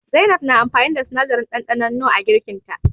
Zainab na amfani da sinadarin ɗanɗanon nor a girkin ta.